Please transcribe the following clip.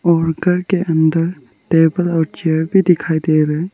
और घर के अंदर टेबल और चेयर भी दिखाई दे रहे--